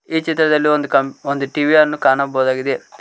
ಈ ಚಿತ್ರದಲ್ಲಿ ಒಂದು ಟಿ_ವಿ ಯನ್ನು ಕಾಣಬಹುದಾಗಿದೆ.